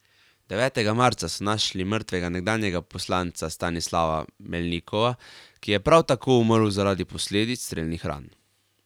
Devetega marca so našli mrtvega nekdanjega poslanca Stanislava Melnikova, ki je prav tako umrl zaradi posledic strelnih ran.